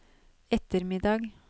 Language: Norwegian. ettermiddag